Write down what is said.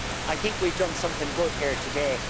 So I think we've done something good here today.